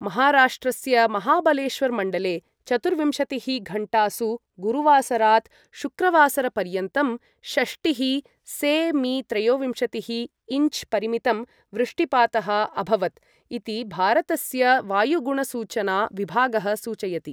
महाराष्ट्रस्य महाबलेश्वर मण्डले चतुर्विंशतिः घण्टासु गुरुवासरात् शुक्रवासरपर्यन्तं षष्टिः से.मी. त्रयोविंशतिः इञ्च् परिमितं वृष्टिपातः अभवत् इति भारतस्य वायुगुणसूचना विभागः सूचयति।